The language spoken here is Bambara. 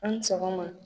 An ni sɔgɔma